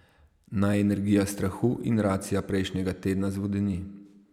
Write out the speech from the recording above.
Naj energija strahu in racija prejšnjega tedna zvodeni.